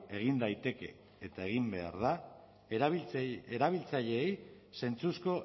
egin daiteke eta egin behar da erabiltzaileei zentzuzko